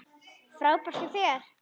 Frábært hjá þér!